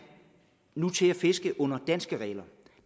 nu til at fiske under danske regler